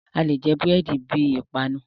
Alè jẹ búrẹ̀dì bi ìpanu.